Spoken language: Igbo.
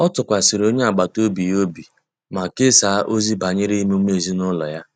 Ọ tụkwasịrị onye agbata obi ya obi ma kesaa ozi banyere emume ezinụlọ ya